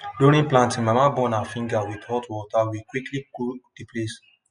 during planting mama burn her finger with hot water we quickly cool the place